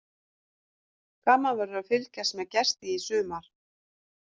Gaman verður að fylgjast með Gesti í sumar.